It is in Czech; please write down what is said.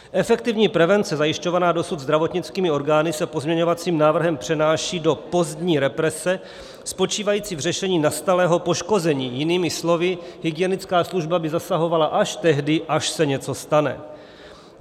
Efektivní prevence zajišťovaná dosud zdravotnickými orgány se pozměňovacím návrhem přenáší do pozdní represe spočívající v řešení nastalého poškození, jinými slovy, hygienická služba by zasahovala až tehdy, až se něco stane.